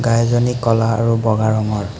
গাইজনী ক'লা আৰু বগা ৰঙৰ।